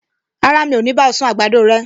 Rárá, mi ò ní bá ọ sun àgbàdo rẹ